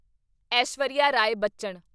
Aishwarya Rai Bachchan